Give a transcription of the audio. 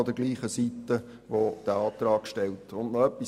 Und noch etwas Zweites.